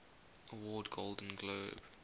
award golden globe